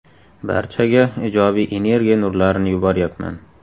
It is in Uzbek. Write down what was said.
Barchaga ijobiy energiya nurlarini yuboryapman.